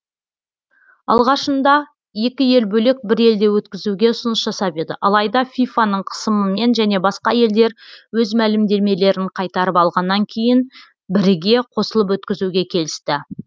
алғашында екі ел бөлек бір елде өткізуге ұсыныс жасап еді алайда фифа ның қысымымен және басқа елдер өз мәлімдемелерін қайтарып алғаннан кейін бірге қосылып өткізуге келісті